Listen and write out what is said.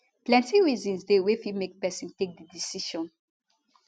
plenti reasons dey wey fit make pesin take di decision